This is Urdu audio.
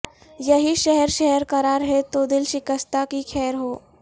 یہی شہر شہر قرار ہے تو دل شکستہ کی خیر ہو